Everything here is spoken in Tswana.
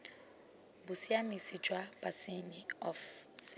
bosiamisi jwa bosenyi of ce